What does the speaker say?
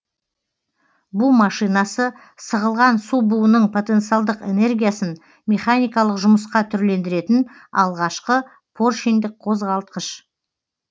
бу машинасы сығылған су буының потенциалдық энергиясын механикалық жұмысқа түрлендіретін алғашқы поршеньдік қозғалтқыш